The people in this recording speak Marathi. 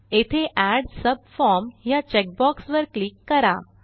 येथे एड सबफॉर्म ह्या चेकबॉक्स वर क्लिक करा